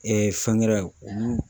fɛnkɛrɛ olu